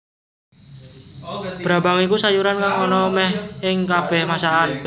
Brambang iku sayuran kang ana méh ing kabéh masakan